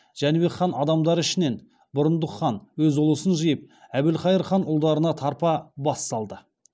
жәнібек хан адамдары ішінен бұрындық хан өз ұлысын жиып әбілқайыр хан ұлдарына тарпа бас салды